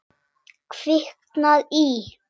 Kviknað í.